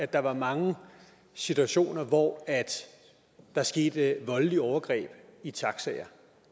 der var mange situationer hvor der skete voldelige overgreb i taxaer